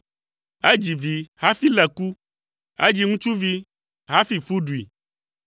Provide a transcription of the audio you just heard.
“Edzi vi hafi lé ku. Edzi ŋutsuvi hafi fu ɖui.